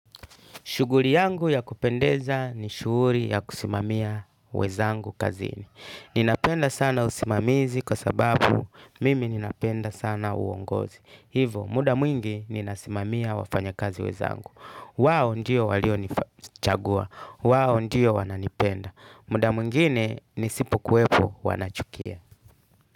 Shuguri yangu ya kupendeza ni shuri ya kusimamia wezangu kazini. Ninapenda sana usimamizi kwa sababu mimi ninapenda sana uongozi. Hivo, muda mwingi ninasimamia wafanya kazi wezangu. Wao ndiyo walio nichagua. Wao ndiyo wananipenda. Muda mwingine nisipo kwepo wanachukia.